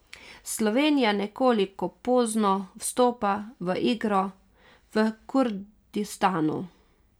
Slovenija nekoliko pozno vstopa v igro v Kurdistanu.